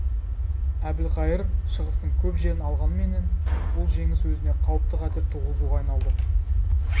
әбілқайыр шығыстың көп жерін алғанменен бұл жеңіс өзіне қауіпті қатер туғызуға айналды